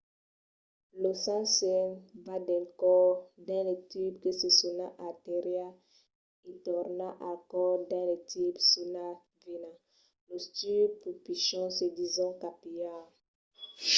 lo sang se'n va del còr dins de tubs que se sonan artérias e torna al còr dins de tubs sonats venas. los tubs pus pichons se dison capillars